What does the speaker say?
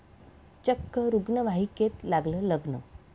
चक्क रुग्णवाहिकेत लागलं लग्न!